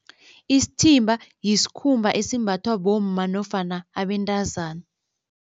Isithimba yisikhumba esimbathwa bomma nofana abentazana.